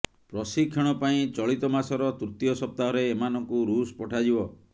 ପ୍ରଶିକ୍ଷଣ ପାଇଁ ଚଳିତମାସର ତୃତୀୟ ସପ୍ତାହରେ ଏମାନଙ୍କୁ ରୁଷ ପଠାଯିବ